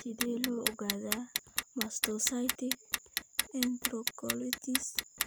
Sidee loo ogaadaa mastocytic enterocolits?